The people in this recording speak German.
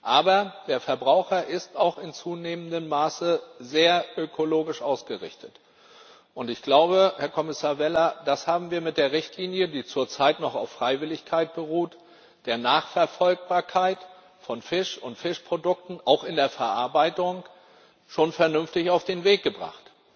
Aber der Verbraucher ist auch in zunehmendem Maße sehr ökologisch ausgerichtet und ich glaube, Herr Kommissar Vella, das haben wir mit der Richtlinie, die zurzeit noch auf Freiwilligkeit beruht, bezüglich der Nachverfolgbarkeit von Fisch und Fischprodukten auch in der Verarbeitung schon vernünftig auf den Weg gebracht.